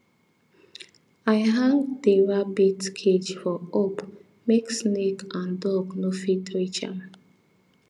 i hang di rabbit cage for up make snake and and dog no fit reach am